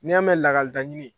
Ni y'a mɛn lakaleta ɲini